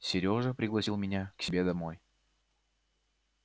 серёжа пригласил меня к себе домой